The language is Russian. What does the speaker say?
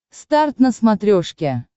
старт на смотрешке